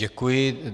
Děkuji.